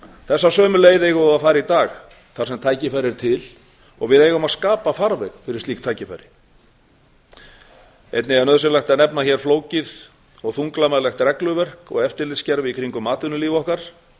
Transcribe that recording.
þessa sömu leið eigum við að fara í dag þar sem tækifæri er til og við eigum að skapa farveg fyrir slík tækifæri einnig er nauðsynlegt að nefna hér flókið og þunglamalegt regluverk og eftirlitskerfi í gegnum atvinnulíf okkar það